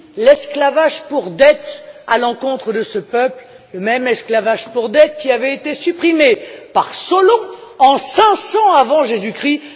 ainsi l'esclavage pour dette à l'encontre de ce peuple, le même esclavage pour dette qui avait été supprimé par Solon en 500 avant Jésus Christ.